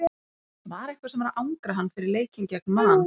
Það var eitthvað sem var að angra hann fyrir leikinn gegn Man.